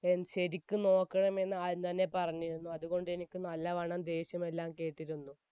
ശരിക്കും നോക്കണമെന്ന് ആദ്യം തന്നെ പറഞ്ഞിരുന്നു, അതുകൊണ്ട് എനിക്ക് നല്ലവണ്ണം ദേഷ്യമെല്ലാം കേട്ടിരുന്നു.